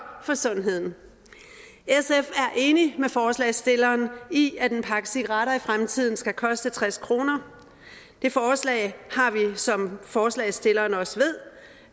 for sundheden sf er enig med forslagsstillerne i at en pakke cigaretter i fremtiden skal koste tres kroner det forslag har vi som forslagsstillerne også ved